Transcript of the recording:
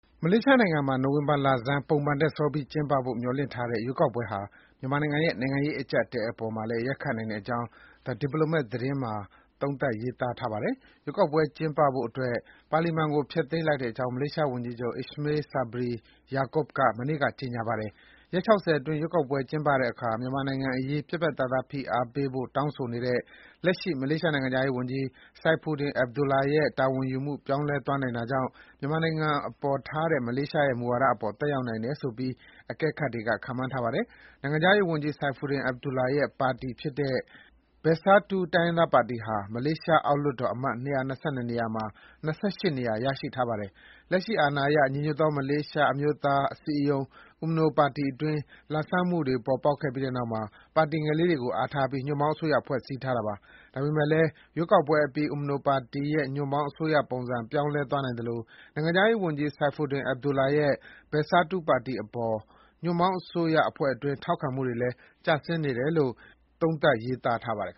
မလေးရှားနိုင်ငံမှာ နိုဝင်ဘာလဆန်း ပုံမှန်ထက်စောပြီးကျင်းပဖို့မျှော်လင့်ထားတဲ့ ရွေးကောက်ပွဲဟာ မြန်မာနိုင်ငံရဲ့ နိုင်ငံရေးအကြပ်အတည်းပေါ်မှာလည်း ရိုက်ခတ်နိုင်ကြောင်း The Diplomat သတင်းစာမှာ သုံးသပ်ရေးသားထားပါတယ်။ ရွေးကောက်ပွဲသစ်ကျင်းပဖို့အတွက် ပါလီမန်ကို ဖျက်သိမ်းလိုက်ကြောင်း မလေးရှားဝန်ကြီးချုပ် Ismail Sabri Yaakob က မနေ့က ကြေညာပါတယ်။ ရက် ၆၀ အတွင်း ရွေးကောက်ပွဲကျင်းပတဲ့အခါ မြန်မာနိုင်ငံအရေး ပြတ်ပြတ်သားသား ဖိအားပေးဖို့ တောင်းဆိုနေတဲ့ လက်ရှိ မလေးရှားနိုင်ငံခြားရေးဝန်ကြီး Saifuddin Abdullah ရဲ့ တာဝန်ယူမှု ပြောင်းလဲသွားနိုင်တာကြောင့် မြန်မာနိုင်ငံအပေါ်ထားတဲ့ မလေးရှားနိုင်ငံရဲ့ မူဝါဒအပေါ် သက်ရောက်နိုင်တယ်ဆိုပြီး အကဲခတ်တွေက ခန့်မှန်းထားပါတယ်။ နိုင်ငံခြားရေး ဝန်ကြီး Saifuddin Abdullah ရဲ့ ပါတီဖြစ်တဲ့ Parti Pribumi Bersatu Malaysia ခေါ် BERSATU တိုင်းရင်းသားပါတီဟာ မလေးရှား အောက်လွှတ်တော်အမတ် ၂၂၂ နေရာမှာ ၂၈ နေရာ ရရှိထားပါတယ်။ လက်ရှိအာဏာရ ညီညွတ်သော မလေးရှားအမျိုးသား အစည်းအရုံး UMNO ပါတီတွင်း လာဘ်စားမှုတွေ ပေါ်ပေါက်ခဲ့ပြီးနောက်မှာ ပါတီငယ်လေးတွေကို အားထားပြီး ညွှန့်ပေါင်းအစိုးရ ဖွဲ့စည်းထားတာပါ။ ဒါပေမယ့်လည်း ရွေးကောက်ပွဲအပြီး UMNO ပါတီရဲ့ ညွှန့်ပေါင်းအစိုးရပုံစံ ပြောင်းလဲသွားနိုင်သလို နိုင်ငံခြားရေးဝန်ကြီး Saifuddin Abdullah ရဲ့ BERSATU ပါတီအပေါ် ညွှန့်ပေါင်းအစိုးရအဖွဲ့အတွင်း ထောက်ခံမှုလည်း ကျဆင်းနေတယ်လို့ သုံးသပ်ရေးသားပါတယ်